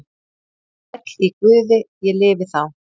Sæll í Guði ég lifi þá.